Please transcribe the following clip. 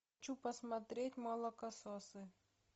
хочу посмотреть молокососы